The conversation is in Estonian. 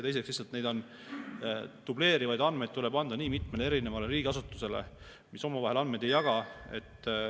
Teiseks, lihtsalt dubleerivaid andmeid tuleb anda nii mitmele erinevale riigiasutusele, kes omavahel andmeid ei jaga.